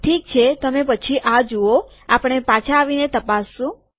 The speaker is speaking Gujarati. ઠીક છે તમે પછી આ જુઓ આપણે પાછા આવીને તે તપાસશું